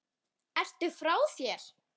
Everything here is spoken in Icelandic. Ertu frá þér!?